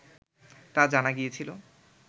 তা জানা গিয়েছিল